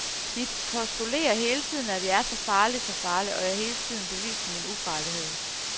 De postulerer hele tiden, at jeg er så farlig, så farlig, og jeg skal hele tiden bevise min ufarlighed.